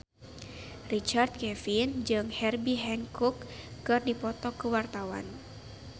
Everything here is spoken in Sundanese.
Richard Kevin jeung Herbie Hancock keur dipoto ku wartawan